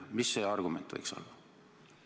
Mis see argument võiks olla?